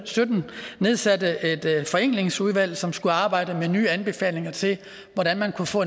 sytten nedsatte et forenklingsudvalg som skulle arbejde med nye anbefalinger til hvordan man kunne få